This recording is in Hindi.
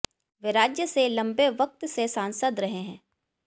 वे राज्य से लंबे वक्त से सांसद रहे हैं